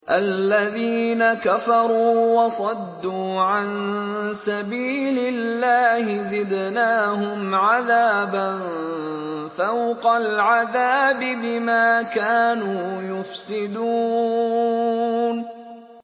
الَّذِينَ كَفَرُوا وَصَدُّوا عَن سَبِيلِ اللَّهِ زِدْنَاهُمْ عَذَابًا فَوْقَ الْعَذَابِ بِمَا كَانُوا يُفْسِدُونَ